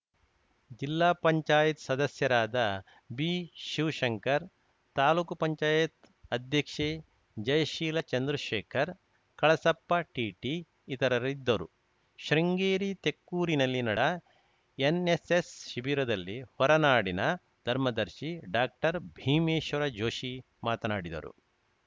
ಜಿಲ್ಲಾ ಪಂಚಾಯತ್ ಸದಸ್ಯರಾದ ಬಿಶಿವಶಂಕರ್‌ ತಾಲೂಕು ಪಂಚಾಯತ್ ಅಧ್ಯಕ್ಷೆ ಜಯಶೀಲಾ ಚಂದ್ರಶೇಖರ್‌ ಕಳಸಪ್ಪ ಟಿಟಿ ಇತರರಿದ್ದರು ಶೃಂಗೇರಿ ತೆಕ್ಕೂರಿನಲ್ಲಿ ನಡ ಎನ್‌ಎಸ್‌ಎಸ್‌ ಶಿಬಿರದಲ್ಲಿ ಹೊರನಾಡಿನ ಧರ್ಮದರ್ಶಿ ಡಾಕ್ಟರ್ಭೀಮೇಶ್ವರ ಜೋಷಿ ಮಾತನಾಡಿದರು